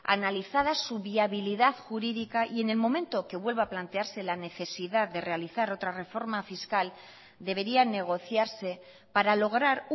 analizadas su viabilidad jurídica y en el momento que vuelva a plantearse la necesidad de realizar otra reforma fiscal deberían negociarse para lograr